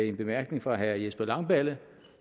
en bemærkning fra herre jesper langballe